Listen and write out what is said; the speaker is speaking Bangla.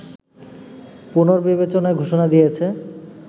পুনর্বিবেচনার ঘোষণা দিয়েছে